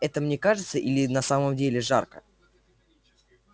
это мне кажется или на самом деле жарко